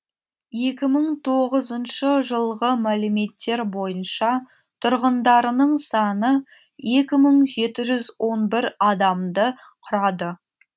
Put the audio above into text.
екі мың тоғызыншы жылғы мәліметтер бойынша тұрғындарының саны екі мың жеті жүз он бір адамды құрады